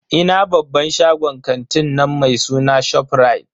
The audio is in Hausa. Ina babban shagon kantin nan mai suna ShopRite.